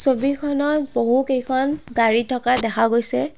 ছবিখনত বহুকেইখন গাড়ী থকা দেখা গৈছে।